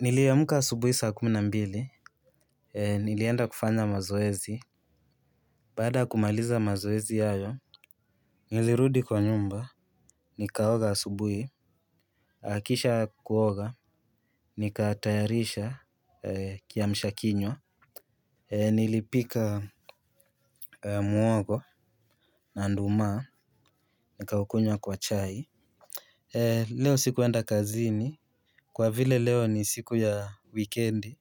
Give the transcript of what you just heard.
Niliamka asubuhi saa kumi na mbili, nilienda kufanya mazoezi, baada ya kumaliza mazoezi hayo, nilirudi kwa nyumba, nikaoga asubuhi, kisha kuoga, nikatayarisha kiamsha kinywa, nilipika muhogo, na nduma, nikaukunywa kwa chai. Leo sikuenda kazini kwa vile leo ni siku ya wikendi.